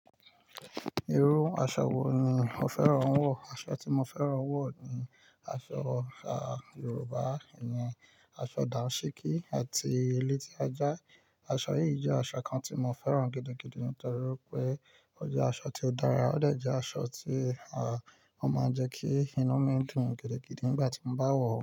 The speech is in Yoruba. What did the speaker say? Iru aṣọ wo ni o fẹ́ran wọ̀? Aṣọ ti mo fẹ́ran wọ̀ ni aṣọ àà Yorùbá, ìyẹn aṣọ dàńṣíkí àti elétí ajá. Aṣọ yìí jẹ́ aṣọ kan tí mo fẹ́ran gidigidi nítorí wipé ó jẹ́ aṣọ tí ó dára, ó de aṣọ tí, à, ó máa ń jẹ́ kí inú mi dùn gidigidi nígbà tí mo bá wọ̀.